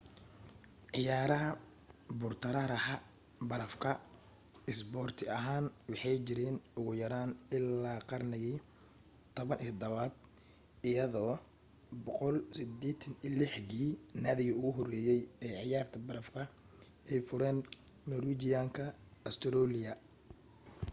ciyaaraha buur-taraaraxa barafka isboorti ahaan waxay jireen ugu yaraan illaa qarnigii 17aad iyadoo 186-gii naadiga ugu horreeyay ee ciyaarta barafka ay fureen norwijiyaanka australiya